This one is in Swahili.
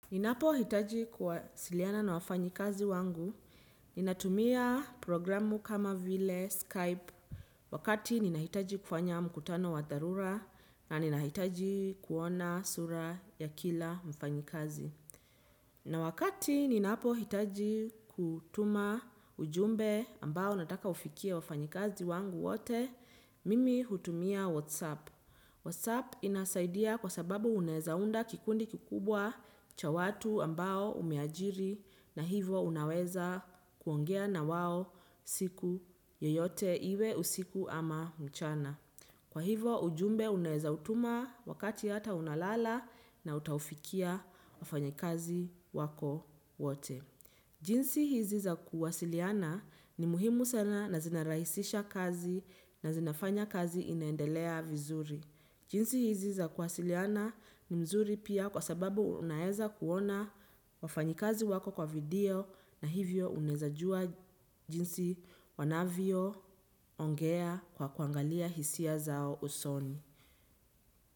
Ninapo hitaji kuwasiliana na wafanyikazi wangu, ninatumia programu kama vile Skype, wakati ninahitaji kufanya mkutano wa dharura, na ninahitaji kuona sura ya kila mfanyikazi. Na wakati ninapohitaji kutuma ujumbe ambao nataka ufikie wafanyikazi wangu wote, mimi hutumia WhatsApp. WhatsApp inasaidia kwa sababu unaeza unda kikundi kikubwa cha watu ambao umeajiri na hivo unaweza kuongea na wao siku yoyote iwe usiku ama mchana. Kwa hivo ujumbe unaeza utuma wakati hata unalala na utaufikia wafanya kazi wako wote. Jinsi hizi za kuwasiliana ni muhimu sana na zinarahisisha kazi na zinafanya kazi inaendelea vizuri. Jinsi hizi za kuwasiliana ni nzuri pia kwa sababu unaeza kuona wafanyikazi wako kwa video na hivyo unaeza jua jinsi wanavyo ongea kwa kuangalia hisia zao usoni.